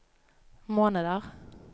måneder